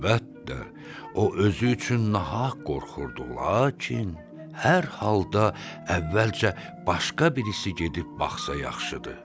Əlbəttə, o özü üçün nahaq qorxurdu, lakin hər halda əvvəlcə başqa birisi gedib baxsa yaxşıdır.